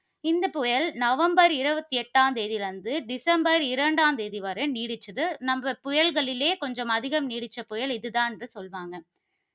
இந்த புயல், நவம்பர் இருபத்தி எட்டாம் தேதியில் இருந்து, டிசம்பர் இரண்டாம் தேதி வரை நீடித்தது. நம்ம புயல்களிலே கொஞ்சம் அதிகம் நீடிச்ச புயல் இதுதான் என்று சொல்வாங்க.